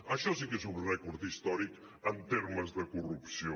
això sí que és un rècord històric en termes de corrupció